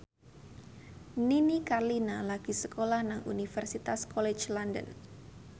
Nini Carlina lagi sekolah nang Universitas College London